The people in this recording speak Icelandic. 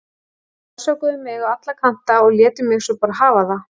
Þeir rannsökuðu mig á alla kanta og létu mig svo bara hafa það.